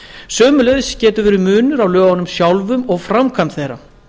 sömuleiðis getur verið munur á lögunum sjálfum og framkvæmd þeirra